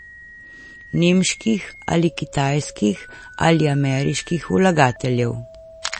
Nemških ali kitajskih ali ameriških vlagateljev?